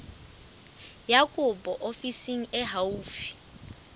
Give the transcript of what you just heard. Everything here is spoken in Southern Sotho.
ya kopo ofising e haufi